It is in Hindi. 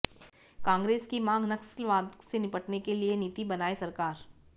कांग्रेस की मांग नक्सलवाद से निपटने की नीति बनाए सरकार